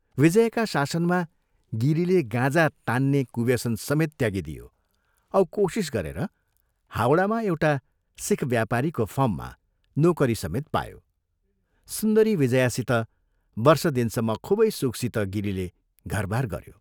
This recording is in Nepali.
विजयाका शासनमा गिरीले गाँजा तात्रे कुव्यसनसमेत त्यागिदियो औ कोशिश गरेर हवडामा एउटा सिख व्यापारीको फर्ममा नोकरीसमेत पायो सुन्दरी विजयासित वर्ष दिनसम्म खूबै सुखसित गिरीले घरबार गयो।